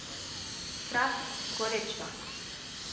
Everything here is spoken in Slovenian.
Strast, gorečnost.